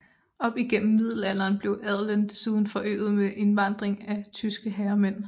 Op gennem middelalderen blev adelen desuden forøget ved indvandring af tyske herremænd